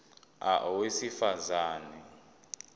a owesifaz ane